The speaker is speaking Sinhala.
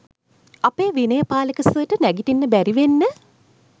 අපේ විනය පාලක සර්ට නැගිටින්න බැරිවෙන්න